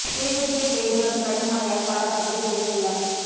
கிளிநொச்சியில் பெய்து வரும் கடும் மழையால் பல பகுதிகளில் வெள்ளம்